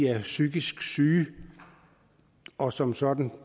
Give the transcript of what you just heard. er psykisk syge og som sådan